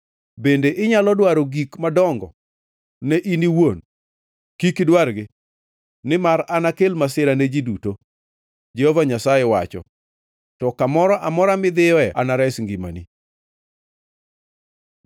Bende inyalo dwaro gik madongo ne in owuon? Kik idwargi. Nimar anakel masira ne ji duto, Jehova Nyasaye wacho, to kamoro amora midhiyoe anares ngimani.’ ”